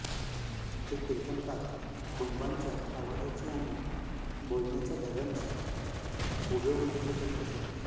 ते कीर्तनकार बुबांच्या आवाजाची आणि बोलण्याच्या ढंगाची हुबेहूब नक्कल करीत असत